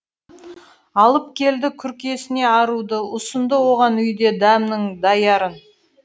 алып келді күркесіне аруды ұсынды оған үйде дәмнің даярын